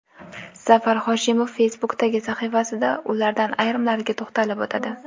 Zafar Hoshimov Facebook’dagi sahifasida ulardan ayrimlariga to‘xtalib o‘tadi .